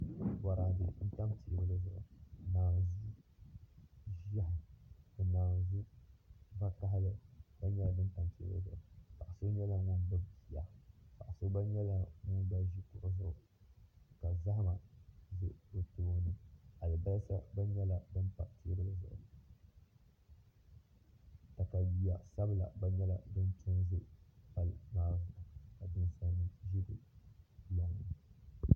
Bɔradɛ n pa tɛɛbuli zuɣu ka nanzuu ziya ka nanzu vakahili gba yɛla dini pa tɛɛbuli zuɣu paɣa so yɛla ŋuni gbubi bia paɣa so gba yɛla ŋuni gba zi kuɣu zuɣu ka zahima bɛ o tooni alibasa gba yɛla dini pa tɛɛbuli zuɣu katayua sabila gba yɛla dini to nzi Palli maa zuɣu ka ninsali nima zi di lɔŋni.